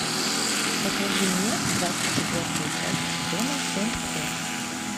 покажи мне двадцать четвертую часть сезона семь хор